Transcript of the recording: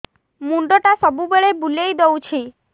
ମୁଣ୍ଡଟା ସବୁବେଳେ ବୁଲେଇ ଦଉଛି